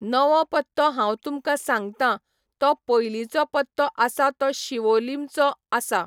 नवो पत्तो हांव तुमकां सांगतां, तो पयलींचो पत्तो आसा तो शिवोलीमचो आसा.